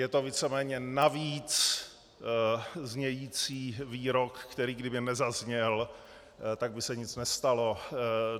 Je to víceméně navíc znějící výrok, který kdyby nezazněl, tak by se nic nestalo.